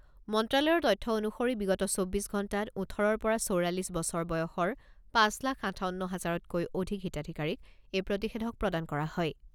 মন্ত্ৰালয়ৰ তথ্য অনুসৰি বিগত চৌব্বিছ ঘণ্টাত ওঠৰৰ পৰা চৌৰাল্লিছ বছৰ বয়সৰ পাঁচ লাখ আঠাৱন্ন হাজাৰতকৈ অধিক হিতাধিকাৰীক এই প্ৰতিষেধক প্ৰদান কৰা হয়।